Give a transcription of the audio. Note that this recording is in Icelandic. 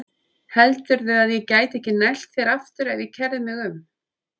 Heldurðu að ég gæti ekki nælt þér aftur ef ég kærði mig um?